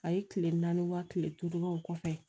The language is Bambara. A ye kile naani wa kile duuru o kɔfɛ